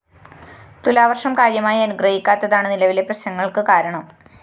തുലാവര്‍ഷം കാര്യമായി അനുഗ്രഹിക്കാത്തതാണ് നിലവിലെ പ്രശ്‌നങ്ങള്‍ക്കാ കാരണം